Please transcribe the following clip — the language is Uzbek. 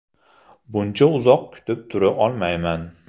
Buncha uzoq kutib tura olmayman.